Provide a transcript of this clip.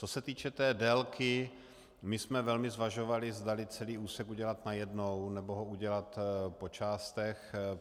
Co se týče té délky, my jsme velmi zvažovali, zdali celý úsek udělat najednou, nebo ho udělat po částech.